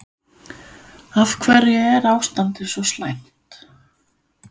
Af hverju er ástandið svo slæmt?